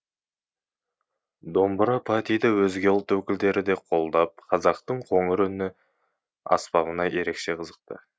домбыра патиді өзге ұлт өкілдері де қолдап қазақтың қоңыр үнді аспабына ерекше қызықты